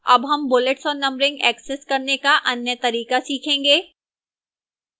अब हम bullets और numbering ऐक्सेस करने का अन्य तरीका सीखेंगे